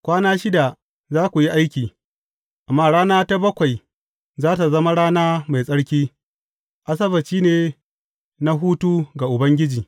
Kwana shida za ku yi aiki, amma rana ta bakwai za tă zama rana mai tsarki, Asabbaci ne na hutu ga Ubangiji.